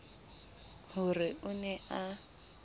ho re o ne a